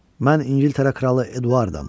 Mən İngiltərə kralı Eduardam.